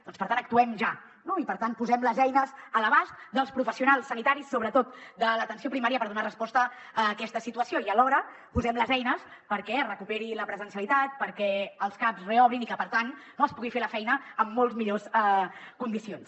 doncs per tant actuem ja no i per tant posem les eines a l’abast dels professionals sanitaris sobretot de l’atenció primària per donar resposta a aquesta situació i alhora posem hi les eines perquè es recuperi la presencialitat perquè els caps reobrin i que per tant es pugui fer la feina en molt millors condicions